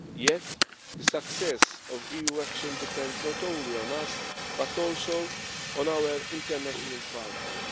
Yet the success of EU action depends not only on us, but also on our international partners.